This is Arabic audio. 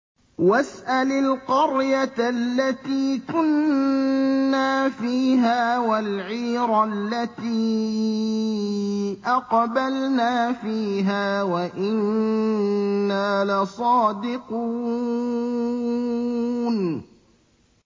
وَاسْأَلِ الْقَرْيَةَ الَّتِي كُنَّا فِيهَا وَالْعِيرَ الَّتِي أَقْبَلْنَا فِيهَا ۖ وَإِنَّا لَصَادِقُونَ